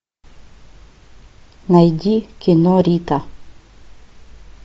найди кино рита